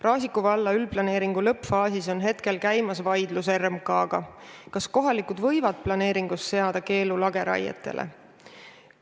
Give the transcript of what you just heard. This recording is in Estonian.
Raasiku valla üldplaneeringu lõppfaasis käib praegu vaidlus RMK-ga, kas kohalikud võivad planeeringus seada keelu lageraietele.